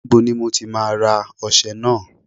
Níbo ni mo ti máa ra ọṣẹ náà?